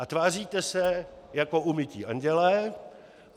A tváříte se jako umytí andělé.